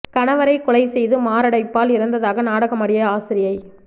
கணவரை கொலை செய்து மாரடைப்பால் இறந்ததாக நாடகமாடிய ஆசிரியை